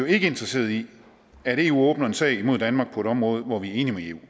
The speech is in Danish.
ikke interesseret i at eu åbner en sag imod danmark på et område hvor vi er enige